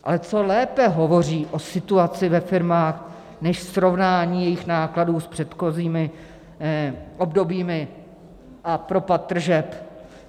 Ale co lépe hovoří o situaci ve firmách než srovnání jejich nákladů s předchozími obdobími a propad tržeb?